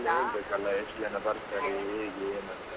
ಕರ್ಕೊಂಡೆ ಹೋಗ್ಬೇಕಲ್ಲ ಎಷ್ಟು ಜನ ಬರ್ತಾರೆ, ಹೇಗೆ ಏನಂತ?